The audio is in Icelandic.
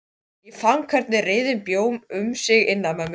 Ég fann hvernig reiðin bjó um sig innan í mér.